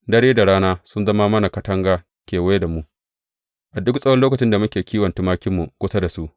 Dare da rana sun zama mana katanga kewaya da mu, a duk tsawon lokacin da muke kiwon tumakinmu kusa da su.